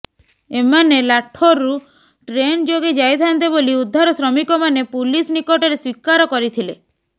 ଏମାନେ ଲାଠୋରରୁ ଟ୍ରେନ ଯୋଗେ ଯାଇଥାନ୍ତେ ବୋଲି ଉଦ୍ଧାର ଶ୍ରମିକମାନେ ପୁଲିସ ନିକଟରେ ସ୍ବୀକାର କରିଥିଲେ